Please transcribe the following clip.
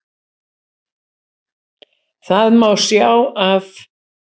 Það má sjá af